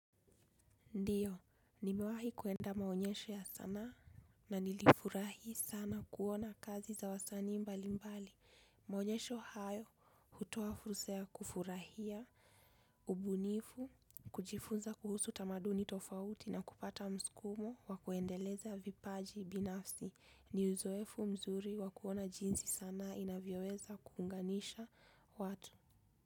Ndiyo, nimewahi kuenda maonyesho ya sanaa na nilifurahi sana kuona kazi za wasani mbali mbali. Maonyesho hayo, hutoa fursa ya kufurahia, ubunifu, kujifunza kuhusu tamaduni tofauti na kupata msukumo wa kuendeleza vipaji binafsi. Ni uzoefu mzuri wa kuona jinsi sanaa inavyoeza kuunganisha watu.